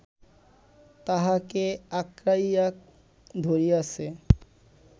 তাহাকে আকঁড়াইয়া ধরিয়াছে